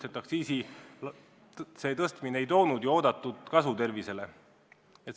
Aktsiisi tõstmine ei toonud ju oodatud kasu tervisele.